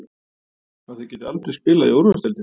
Að þau geti aldrei spilað í úrvalsdeildinni?